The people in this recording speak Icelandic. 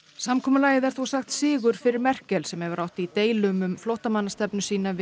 samkomulagið er þó sagt sigur fyrir Merkel sem hefur átt í deilum um flóttamannastefnu sína við